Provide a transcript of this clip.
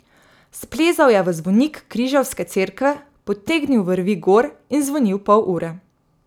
Splezal je v zvonik križevske cerkve, potegnil vrvi gor in zvonil pol ure.